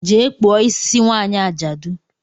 Jee kpụọ isi nwanyị ajadu!